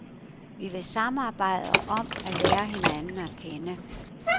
Vi vil samarbejde om at lære hinanden at kende.